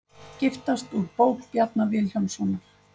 Giftast úr bók Bjarna Vilhjálmssonar